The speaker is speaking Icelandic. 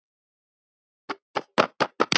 Frændi minn